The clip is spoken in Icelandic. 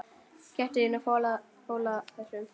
Gættu þín á fóla þessum.